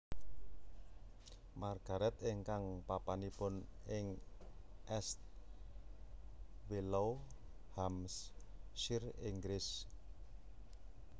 Margaret ingkang papanipun ing East Wellow Hampshire Inggris